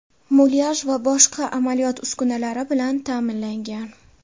mulyaj va boshqa amaliyot uskunalari bilan ta’minlangan.